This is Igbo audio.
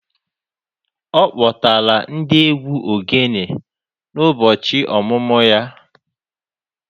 Ọ kpọtara ndị egwu ogene n'ụbọchị ọmụmụ ya